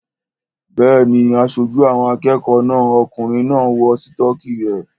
Bẹ́ẹ̀ni, aṣojú àwọn akẹ́kọ̀ọ́ náà okùnrin náà ń wọ sítọ́kì rẹ̀